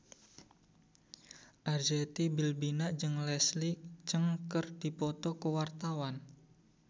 Arzetti Bilbina jeung Leslie Cheung keur dipoto ku wartawan